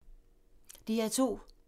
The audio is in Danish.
DR2